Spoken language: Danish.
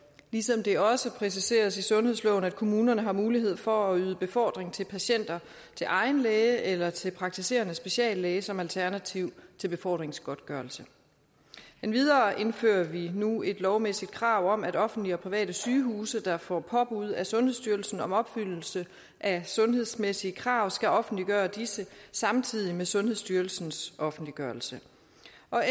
ligesom det også præciseres i sundhedsloven at kommunerne har mulighed for at yde befordring til patienter til egen læge eller til praktiserende speciallæge som alternativ til befordringsgodtgørelse endvidere indfører vi nu et lovmæssigt krav om at offentlige og private sygehuse der får påbud af sundhedsstyrelsen om opfyldelse af sundhedsmæssige krav skal offentliggøre disse samtidig med sundhedsstyrelsens offentliggørelse